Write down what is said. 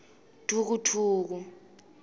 dvukudvuku